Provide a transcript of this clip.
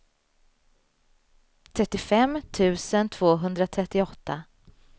trettiofem tusen tvåhundratrettioåtta